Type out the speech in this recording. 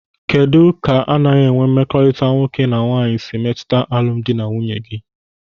Kedụ ka anaghị enwe mmekọrịta nwoke na nwaanyị si emetụta alụmdi na nwunye gị?